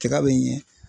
Tiga bɛ ɲɛ